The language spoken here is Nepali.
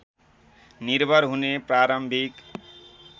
निर्भर हुने प्रारम्भिक